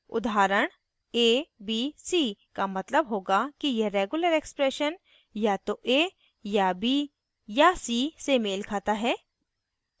उदाहरण abc का मतलब होगा कि यह regular expression या तो a या b या c से मेल खाता है